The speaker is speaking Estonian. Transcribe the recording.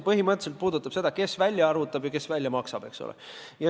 Põhimõtteliselt puudutab see eelnõu seda, kes välja arvutab ja kes välja maksab.